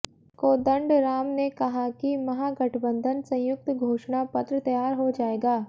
कोदंडराम ने कहा कि महागठबंधन संयुक्त घोषणा पत्र तैयार हो जाएगा